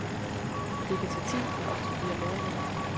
Det kan tage tid, op til flere måneder.